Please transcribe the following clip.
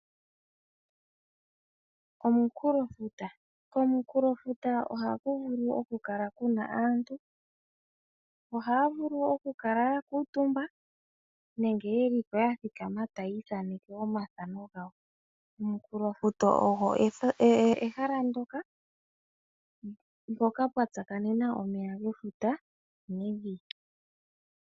Omunkulofuta Komunkulofuta ohaku vulu okukala ku na aantu. Ohaa vulu okukala ya kuutumba nenge ye li po ya thikama taya ithaneke omathano gawo. Omunkulofuta ogo ehala ndyoka mpoka pwa tsakanena omeya gefuta nevi.